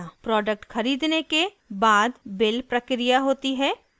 product खरीदने के बाद बिल प्रक्रिया होती है